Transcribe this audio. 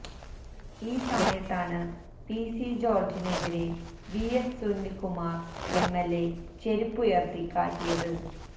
ഈ സമയത്താണ് P C ജോര്ജിനെതിരെ വിഎസ് സുനില്കുമാര് എംഎല്എ ചെരുപ്പ് ഉയര്ത്തി കാട്ടിയത്